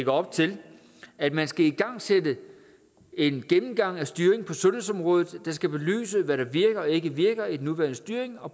op til at man skal igangsætte en gennemgang af styringen på sundhedsområdet der skal belyse hvad der virker og ikke virker i den nuværende styring og